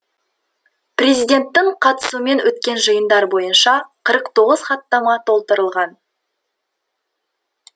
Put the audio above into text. президенттің қатысуымен өткен жиындар бойынша қырық тоғыз хаттама толтырылған